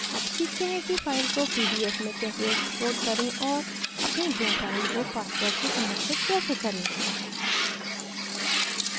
अब सीखते हैं कि file को pdf में कैसे export करें और अपनी draw file को password से संरक्षित कैसे करें